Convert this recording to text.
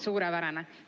Suurepärane!